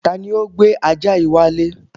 Tani ó gbé ajá yìí wálé?